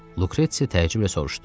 Lukretsi təəccüblə soruşdu.